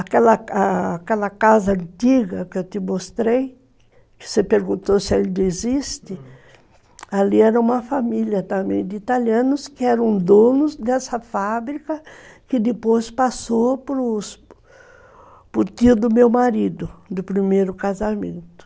Aquela aquela casa antiga que eu te mostrei, que você perguntou se ainda existe, ali era uma família também de italianos que eram donos dessa fábrica que depois passou para o tio do meu marido, do primeiro casamento.